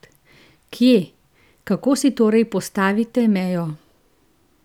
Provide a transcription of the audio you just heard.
Kje, kako si torej postavite mejo?